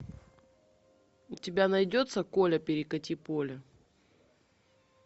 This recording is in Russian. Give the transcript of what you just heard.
у тебя найдется коля перекати поле